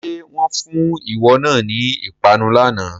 Ṣé wọn fún ìwọ náà ni ìpanu lànà?